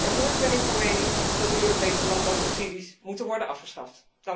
En voorts ben ik van mening dat de Europese landbouwsubsidies moeten worden afgeschaft.